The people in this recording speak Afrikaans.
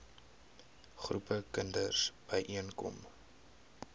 groepe kinders byeenkom